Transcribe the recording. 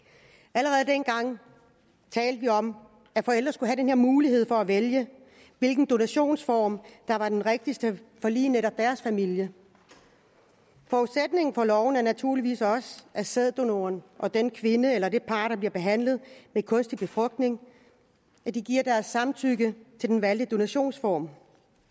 allerede dengang talte vi om at forældre skulle have den her mulighed for at vælge hvilken donationsform der var den rigtigste for lige netop deres familie forudsætningen for loven er naturligvis også at sæddonoren og den kvinde eller det par der bliver behandlet med kunstig befrugtning giver deres samtykke til den valgte donationsform